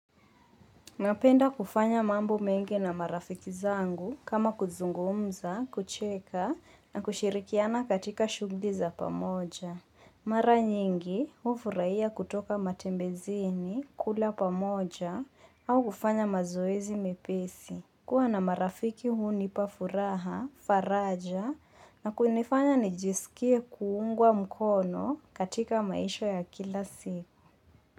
Napenda kufanya mambo mengi na marafiki zangu kama kuzungumza, kucheka na kushirikiana katika shughuli za pamoja. Mara nyingi hufurahia kutoka matembezini, kula pamoja au kufanya mazoezi mepesi. Kuwa na marafiki huu nipafuraha, faraja na kunifanya nijisikie kuungwa mkono katika maisha ya kila siku.